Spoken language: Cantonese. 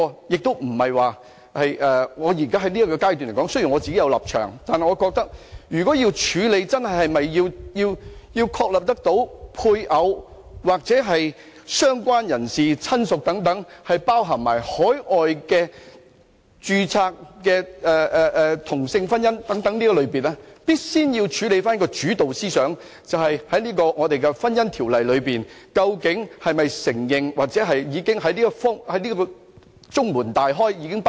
雖然我在此階段是有立場，但我覺得如果要處理是否真的在"配偶"、"相關人士"或"親屬"等定義上，包含海外註冊的同性婚姻，我們必須先處理主導思想，即香港的《婚姻條例》究竟是否承認同性婚姻，或已經"中門大開"、包容了這一點。